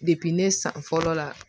ne san fɔlɔ la